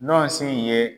Nɔsi ye